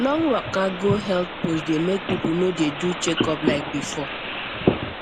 long waka go health post dey make people no dey do checkup like before